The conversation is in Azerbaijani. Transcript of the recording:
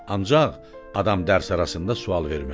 Ancaq adam dərs arasında sual verməz.